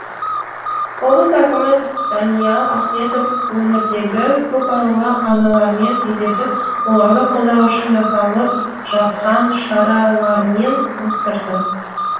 облыс әкімі даниал ахметов өңірдегі көпбалалы аналармен кездесіп оларды қолдау үшін жасалып жатқан шаралармен таныстырды